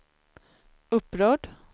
upprörd